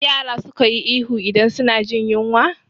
Yara suka yi ihu idan suna jin yinwa